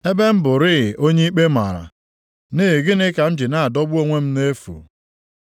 Ebe m bụrịị onye ikpe mara, nʼihi gịnị ka m ji na-adọgbu onwe m nʼefu?